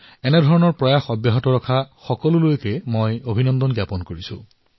মই এনে লোকসকলক অভিনন্দন জনাইছো যিয়ে এনে ধৰণৰ প্ৰয়াস কৰিছে